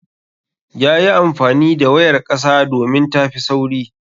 Yayi amfani da wayar ƙasa domin tafi sauri.